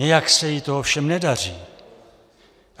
Nějak se jí to ovšem nedaří.